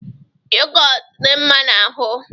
yogot di mma n'ahu